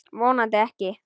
Vonandi ekki.